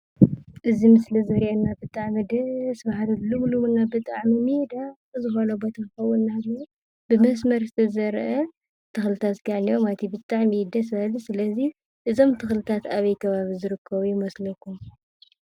እዚ ምስሊ ዘሪአና ብጣዐሚ ደስ... በሃሊ፣ ልምሉምና ብጣዕሚ ሜዳ... ዝኮነ ቦታ ክኸውን እንዳሃለወ ብመስመር ዝተዘርአ ተኽልታት ከዓ እኒአዎ ማለት እዩ፡፡ ብጣዕሚ እዩ ደስ በሃሊ፡፡ ስለዚ እዞም ተክሊታት አበይ ከባቢ ዝርከቡ ይመስለኩም?